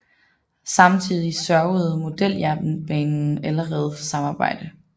Samtidig sørgede Modeljernbanen allerede for samarbejde